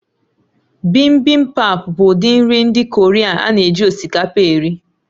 Bibimbap bụ ụdị nri ndị Korea a na-eji osikapa eri